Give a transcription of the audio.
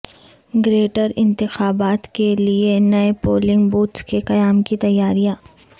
greater انتخابات کیلئے نئے پولنگ بوتھس کے قیام کی تیاریاں